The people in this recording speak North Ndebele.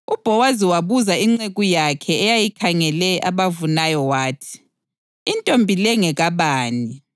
UBhowazi wabuza inceku yakhe eyayikhangele abavunayo wathi, “Intombi le ngekabani?”